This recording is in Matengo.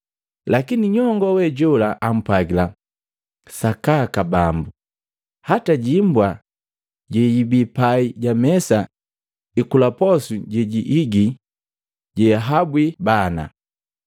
Lakini nyongoo we jola ampwagila, “Sakaka, Bambu, hata jimbwa jejibii pai ja mesa ikula posu jejiigi jehahabwi bana.”